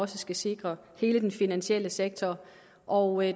skal sikre hele den finansielle sektor og